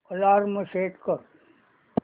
alarm set कर